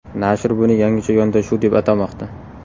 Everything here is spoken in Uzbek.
Nashr buni yangicha yondashuv deb atamoqda.